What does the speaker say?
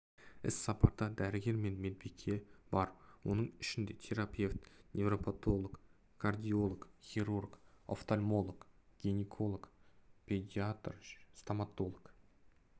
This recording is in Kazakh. іс-сапарда дәрігер мен медбике бар оның ішінде терапевт невропотолог кардиолог хирург офтальмолог гинеколог педиатр стамотолог